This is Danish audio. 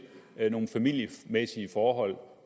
nogle familiemæssige forhold